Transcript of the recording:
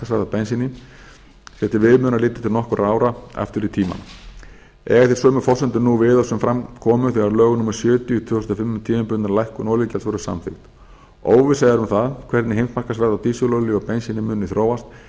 á bensíni sé til viðmiðunar litið til nokkurra ára aftur í tímann eiga sömu forsendur nú við og sem fram komu þegar lög númer sjötíu tvö þúsund og fimm um tímabundna lækkun olíugjalds voru samþykkt óvissa er um hvernig heimsmarkaðsverð á bensíni og dísilolíu muni þróast